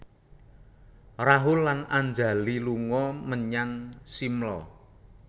Rahul lan Anjali lunga menyang Shimla